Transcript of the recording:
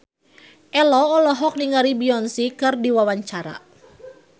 Ello olohok ningali Beyonce keur diwawancara